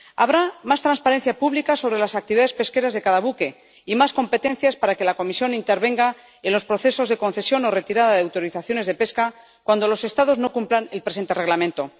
Habrá más transparencia pública sobre las actividades pesqueras de cada buque y más competencias para que la Comisión intervenga en los procesos de concesión o retirada de autorizaciones de pesca cuando los Estados no cumplan el presente Reglamento.